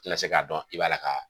Tɛ na se k'a dɔn i b'a la ka